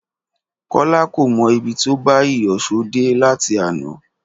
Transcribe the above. Kọ́lá kò mọ ibi tó bá iyọ̀ṣó dé láti àná